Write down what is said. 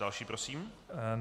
Další prosím.